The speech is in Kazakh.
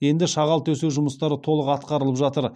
енді шағал төсеу жұмыстары толық атқарылып жатыр